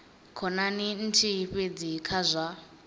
khonani nthihi fhedzi kha zwa